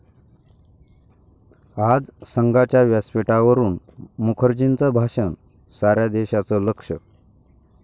आज संघाच्या व्यासपीठावरून मुखर्जींचं भाषण, साऱ्या देशाचं लक्ष